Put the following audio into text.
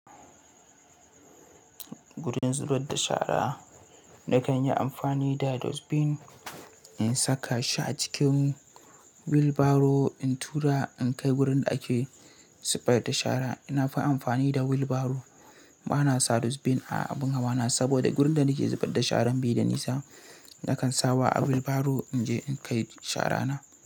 Gurin zubar da shara na kan yi amfani da dustbin in saka shi a cikin wheelbarrow in tura in kai wurin da ake zubar da shara. Na fi amfani da wheelbarrow bana sa dustbin a abin hawa na saboda wurin da nake zubar da sharan bai da nisa, na kan sawa a wheelbarrow in je in kai shara na.